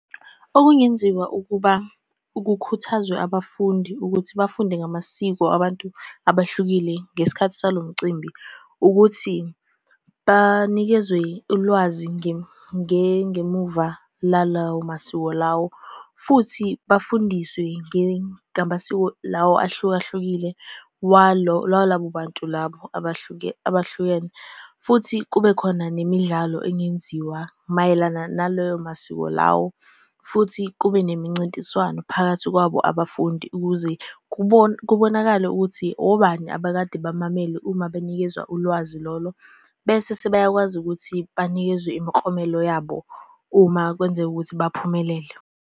Okungenziwa ukuba kukhuthazwe abafundi ukuthi bafunde ngamasiko abantu abahlukile ngesikhathi salo mcimbi ukuthi, banikezwe ulwazi ngengemuva lalawo masiko lawo, futhi bafundiswe ngamasiko lawo ahlukahlukile walabo bantu labo abahlukene. Futhi kube khona nemidlalo engenziwa mayelana nalayo masiko lawo, futhi kube nemincintiswano phakathi kwabo abafundi, ukuze kubonakale ukuthi obani abekade bamamele uma benikezwa ulwazi lolo, bese sebeyakwazi ukuthi banikezwe imiklomelo yabo uma kwenzeka ukuthi baphumelele.